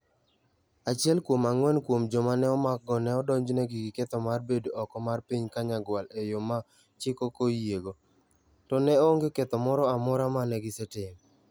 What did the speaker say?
Achiel kuom ang'wen kuom joma ne omakgo ne odonjnegi gi ketho mar bedo oko mar piny Kanyagwal e yo ma chik ok oyiego, to ne onge ketho moro amora ma ne gisetimo.